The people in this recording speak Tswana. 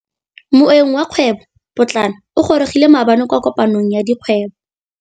Moêng wa dikgwêbô pôtlana o gorogile maabane kwa kopanong ya dikgwêbô.